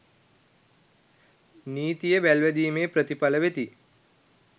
නීතිය වල්වැදීමේ ප්‍රතිඵල වෙති